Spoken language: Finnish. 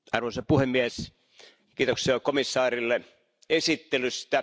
Arvoisa puhemies, kiitoksia komissaarille esittelystä.